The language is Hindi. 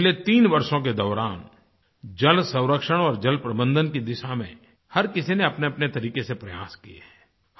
पिछले तीन वर्षों के दौरान जलसंरक्षण और जलप्रबंधन की दिशा में हर किसी ने अपनेअपने तरीके से प्रयास किये हैं